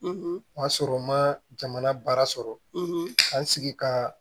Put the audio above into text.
O y'a sɔrɔ n ma jamana baara sɔrɔ ka n sigi ka